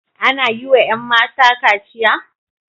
Ana yi wa 'yan mata kachiya?